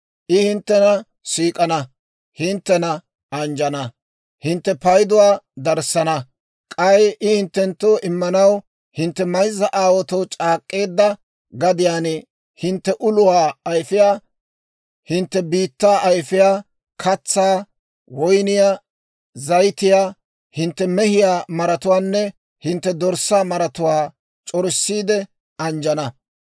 I hinttena siik'ana; hinttena anjjana; hintte payduwaa darissana. K'ay I hinttenttoo immanaw hintte mayzza aawaatoo c'aak'k'eedda gadiyaan hintte uluwaa ayfiyaa, hintte biittaa ayfiyaa, katsaa, woyniyaa, zayitiyaa, hintte mehiyaa maratuwaanne hintte dorssaa maratuwaa c'orissiide anjjana.